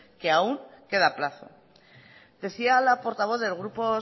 que aún queda plazo decía la portavoz del grupo